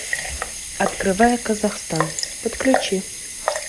открывая казахстан подключи